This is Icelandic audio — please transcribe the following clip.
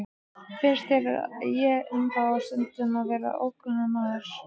Finnst þér ég ennþá stundum vera ókunnugur maður?